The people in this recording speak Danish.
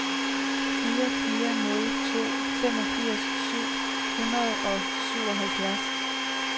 fire fire nul to femogfirs syv hundrede og syvoghalvfjerds